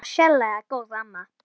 Hún var sérlega góð amma.